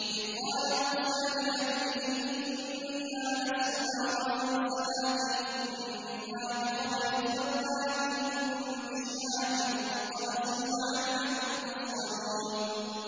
إِذْ قَالَ مُوسَىٰ لِأَهْلِهِ إِنِّي آنَسْتُ نَارًا سَآتِيكُم مِّنْهَا بِخَبَرٍ أَوْ آتِيكُم بِشِهَابٍ قَبَسٍ لَّعَلَّكُمْ تَصْطَلُونَ